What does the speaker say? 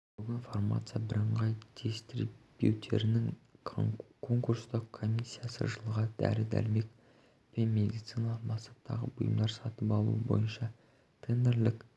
бүгін фармация бірыңғай дистрибьютерінің конкурстық комиссиясы жылға дәрі-дәрмек пен медициналық мақсаттағы бұйымдар сатып алу бойынша тендерлік